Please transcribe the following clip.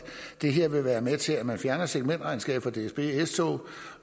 det her vil være med til at man fjerner segmenterregnskabet fra dsb s tog